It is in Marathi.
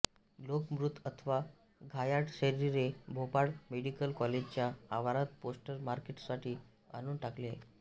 लोक मृत अथवा घायाळ शरीरे भोपाळ मेडिकल कॉलेजच्या आवारात पोस्टमॉर्टेमसाठी आणून टाकू लागले